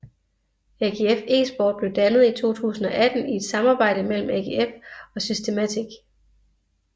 AGF Esport blev dannet i 2018 i et samarbejde mellem AGF og Systematic